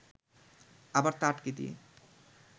আবার তা আটকে দিয়ে